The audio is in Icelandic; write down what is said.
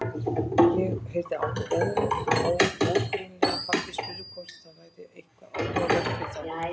Ég heyrði ógreinilega að pabbi spurði hvort það væri eitthvað athugavert við þá.